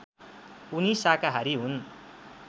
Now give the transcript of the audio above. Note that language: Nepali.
उनी शाकाहारी हुन्